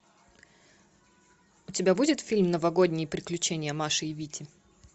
у тебя будет фильм новогодние приключения маши и вити